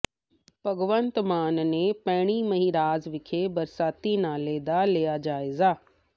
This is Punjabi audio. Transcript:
ਭਗਵੰਤ ਮਾਨ ਨੇ ਭੈਣੀ ਮਹਿਰਾਜ ਵਿਖੇ ਬਰਸਾਤੀ ਨਾਲੇ ਦਾ ਲਿਆ ਜਾਇਜ਼ਾ